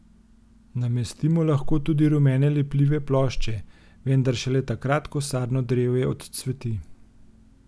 Namestimo lahko tudi rumene lepljive plošče, vendar šele takrat ko sadno drevje odcveti.